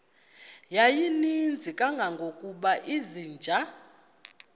yayininzi kangangokuba izinja